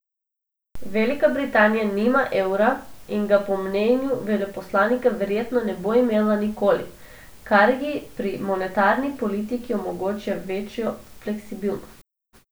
Velika Britanija nima evra in ga po mnenju veleposlanika verjetno ne bo imela nikoli, kar ji pri monetarni politiki omogoča večjo fleksibilnost.